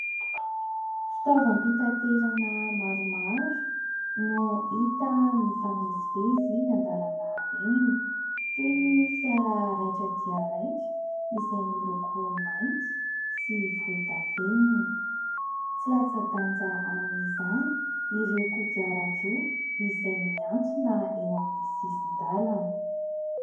Fitaovam-pitaterana maromaro no hita mifamezivezy eny an-dalana eny toy ny fiara raitra dia raitra izay miloko mainty sy volondavenona. Tsy latsa-danja amin'izany ireo kodiarandroa izay miantsona eo amin'ny sisin-dalana.